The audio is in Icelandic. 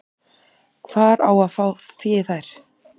Hvar á að fá fé í þær?